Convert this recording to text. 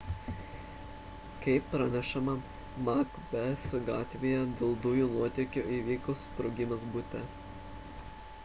kaip pranešama macbeth gatvėje dėl dujų nuotėkio įvyko sprogimas bute